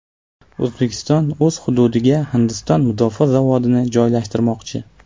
O‘zbekiston o‘z hududiga Hindiston mudofaa zavodini joylashtirmoqchi.